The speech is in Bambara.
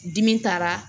Dimi taara